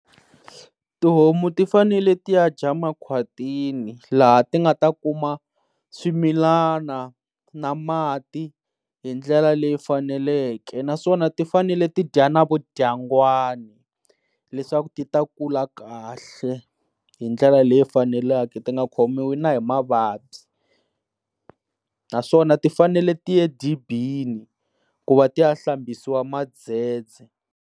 Tihomu ti fanele ti ya dya makhwatini laha ti nga ta kuma swimilana na mati hi ndlela leyi faneleke naswona ti fanele ti dya na vodyangwani leswaku ti ta kula kahle hi ndlela leyi faneleke ti nga khomiwi na hi mavabyi, naswona ti fanele ti ya edibini ku va ti hlambiwa mandzhedzhe.